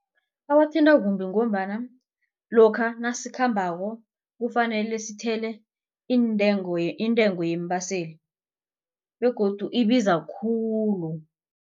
Awathinta kumbi ngombana lokha nasikhambako kufanele sithele iintengo intengo yeembaseli begodu ibiza khulu.